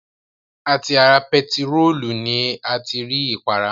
À ti ara bentiróòlù ni a ti rí ìpara